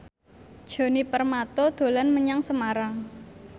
Djoni Permato dolan menyang Semarang